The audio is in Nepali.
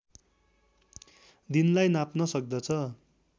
दिनलाई नाप्न सक्दछ